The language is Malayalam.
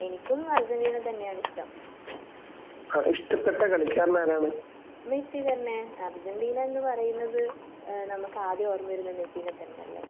എനിക്കും അർജന്റീന തന്നെയാണ് ഇഷ്ടം മെസ്സി തന്നെ. അർജന്റീന എന്ന് പറയുന്നത് ഏഹ് നമുക്ക് ആദ്യം ഓർമ്മ വരുന്നത് മെസ്സിനെ തന്നെയല്ലേ?